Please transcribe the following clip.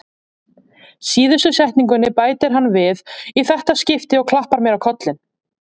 Síðustu setningunni bætir hann við í þetta skipti og klappar mér á kollinn.